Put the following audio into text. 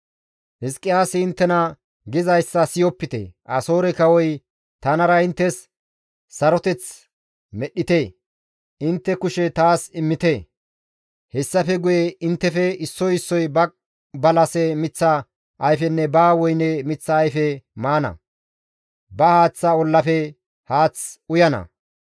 «Hizqiyaasi inttena gizayssa siyopite; Asoore kawoy, ‹Tanara inttes saroteth medhdhite; intte taas kushe immite; hessafe guye inttefe issoy issoy ba balase miththa ayfenne ba woyne miththa ayfe maana; ba haaththa ollafe haath uyana.